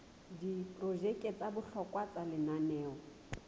diprojeke tsa bohlokwa tsa lenaneo